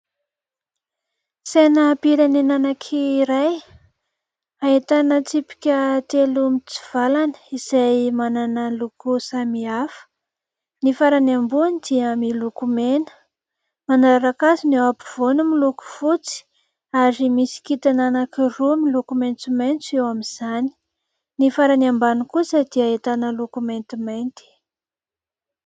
Sainam-pirenena anankiray, ahitana tsipika telo mitsivalana, izay manana ny loko samihafa. Ny farany ambony dia miloko mena ; manaraka azy ny eo ampovoany, miloko fotsy, ary misy kitana anankiroa miloko maitsomaitso eo amin'izany ; ny farany ambany kosa dia ahitana loko maintimainty.